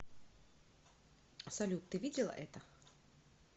салют ты видела это